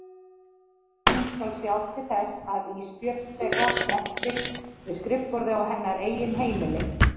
Hún skal sjá til þess að Ísbjörg þeirra menntist við skrifborðið á hennar eigin heimili.